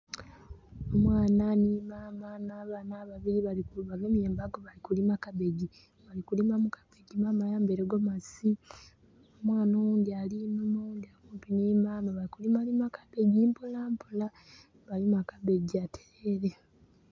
Omwana nhi maama n'abaana ababili bagemye embago bali kulima kapikii Balikulima mu kapiki, maama ayambaile gomasi. Omwana oghundi ali inhuma, oghundi ali kumpi nhi maama bali kulima lima kapiki mpola mpola, bwebalima kapiki atereere.